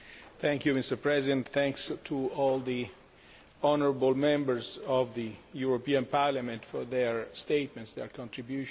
Mr President, thanks to all the honourable Members of the European Parliament for their statements and their contributions.